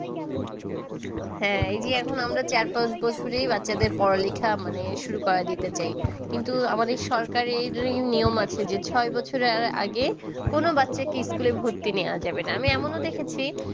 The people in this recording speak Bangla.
হ্যাঁ, এই যে এখন আমরা চার-পাঁচ বছরেই বাচ্চাদের পড়া-লিখা মানে শুরু করে দিতে চাই। কিন্তু আমাদের সরকারের নিয়ম আছে যে ছয় বছরের আগে কোন বাচ্চাকে school এ ভর্তি নেওয়া যাবে না। আমি এমনও দেখেছি